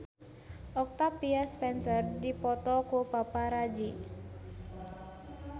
Octavia Spencer dipoto ku paparazi